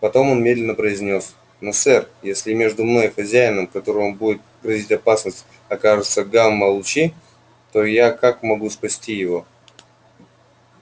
потом он медленно произнёс но сэр если между мной и хозяином которому будет грозить опасность окажутся гамма-лучи то я как могу спасти его